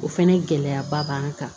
O fɛnɛ gɛlɛyaba b'an kan